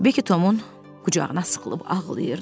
Bekki Tomun qucağına sıxılıb ağlayırdı.